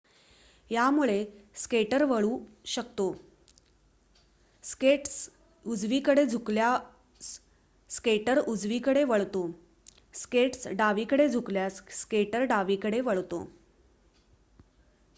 यामुळे स्केटर वळू शकतो स्केट्स उजवीकडे झुकल्यास स्केटर उजवीकडे वळतो स्केट्स डावीकडे झुकल्यास स्केटर डावीकडे वळतो